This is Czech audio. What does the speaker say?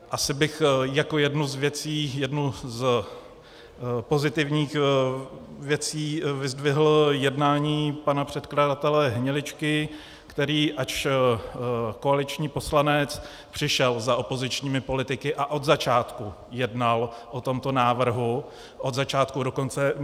Asi bych jako jednu z věcí, jednu z pozitivních věcí, vyzdvihl jednání pana předkladatele Hniličky, který, ač koaliční poslanec, přišel za opozičními politiky a od začátku jednal o tomto návrhu, od začátku do konce.